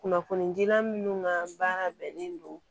Kunnafonidilan minnu ka baara bɛnnen don